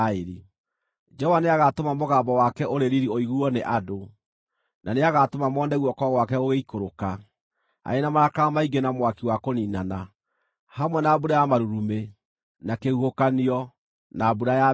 Jehova nĩagatũma mũgambo wake ũrĩ riiri ũiguuo nĩ andũ, na nĩagatũma mone guoko gwake gũgĩikũrũka, arĩ na marakara maingĩ na mwaki wa kũniinana, hamwe na mbura ya marurumĩ, na kĩhuhũkanio, na mbura ya mbembe.